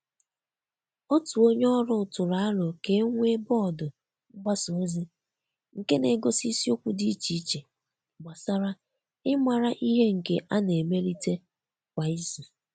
Otu onye ọrụ tụrụ aro ka e nwee bọọdụ mgbasa ozi nke na-egosi isiokwu dị iche iche gbasara ịmara ihe nke ana-emelite kwa izu.